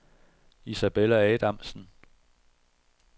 Isabella Adamsen